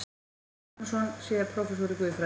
Björn Magnússon, síðar prófessor í guðfræði.